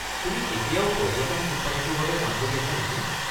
তুমি এতিয়াও পৰ্যটন কোম্পানীটোৰ বাবে কাম কৰি আছা নেকি?